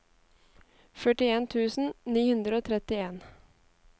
førtien tusen ni hundre og trettien